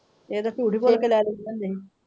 ਇਹ ਤੇ ਝੂਠ ਬੋਲ ਕੇ ਲੈ ਲੈ ਆਉਂਦੇ ਸੀ।